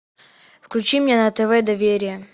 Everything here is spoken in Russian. включи мне на тв доверие